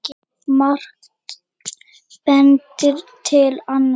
Margt bendir til annars.